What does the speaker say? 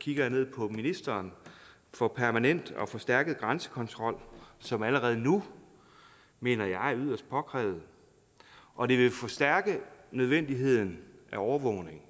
kigger jeg ned på ministeren for permanent og forstærket grænsekontrol som allerede nu mener jeg er yderst påkrævet og det vil forstærke nødvendigheden af overvågning